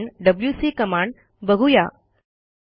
पुढे आपण WC command बघू या